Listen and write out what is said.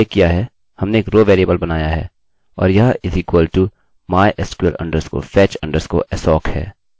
जैसा कि मैंने उल्लेख किया है हमने एक रोrow वेरिएबलvariable बनाया है और यह =mysql_fetch_assoc है